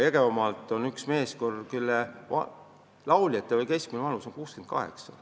Jõgevamaalt osaleb üks meeskoor, kus lauljate keskmine vanus on 68.